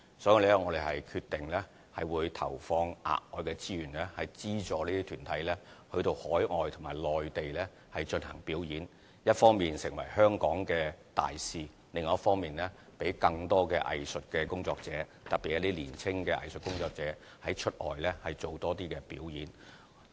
所以，我們決定投放額外的資源，資助這些團體到海外及內地進行表演，一方面成為香港的大使，另一方面讓更多藝術工作者，特別是年青的藝術工作者出外多做表演。